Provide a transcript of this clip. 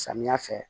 Samiya fɛ